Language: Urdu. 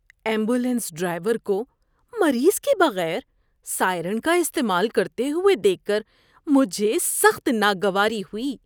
ایمبولینس ڈرائیور کو مریض کے بغیر سائرن کا استعمال کرتے ہوئے دیکھ کر مجھے سخت ناگواری ہوئی۔